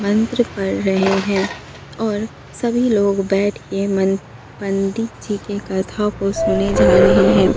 मंत्र पढ़ रहे हैं और सभी लोग बैठ के मन पंडित जी के कथा को सुने जा रहे हैं।